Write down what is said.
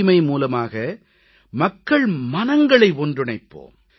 தூய்மை மூலமாக மக்கள் மனங்களை ஒன்றிணைப்போம்